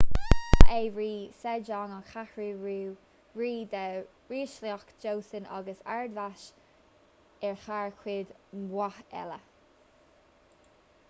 ba é rí sejong an cheathrú rí de ríshliocht joseon agus ard-mheas air thar cuid mhaith eile